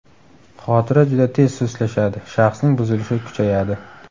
Xotira juda tez sustlashadi, shaxsning buzilishi kuchayadi.